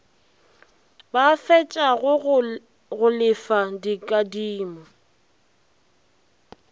ba fetšago go lefa dikadimo